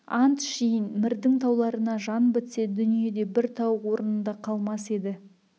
ант ішейін мірдің тауларына жан бітсе дүниеде бір тау орнында қалмас еді